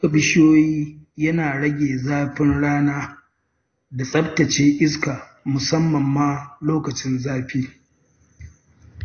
Shuka bishiyoyi yana rage zafin rana da tsaftace iska musamman lokacin zafi.